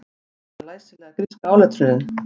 Elsta læsilega gríska áletrunin